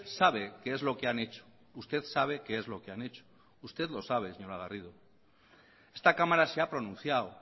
sabe qué es lo que han hecho usted lo sabe señora garrido esta cámara se ha pronunciado